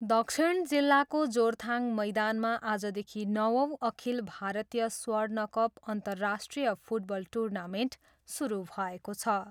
दक्षिण जिल्लाको जोरथाङ मैदानमा आजदेखि नवौँ अखिल भारतीय स्वर्णकप अन्तरराष्ट्रिय फुटबल टुर्नामेन्ट सुरु भएको छ।